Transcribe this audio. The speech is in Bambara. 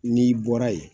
N'i bɔra yen